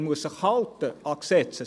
er muss sich an die Gesetze halten.